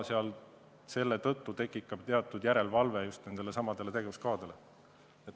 Selle tõttu tekib just nendesamade tegevuskavade järelevalve.